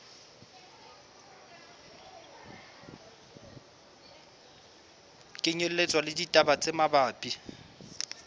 kenyelletswa le ditaba tse mabapi